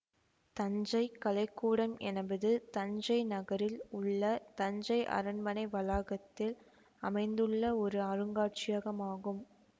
தஞ்சை கலைக்கூடம் எனபது தஞ்சை நகரில் உள்ள தஞ்சை அரண்மனை வளாகத்தில் அமைந்துள்ள ஒரு அருங்காட்சியகம் ஆகும்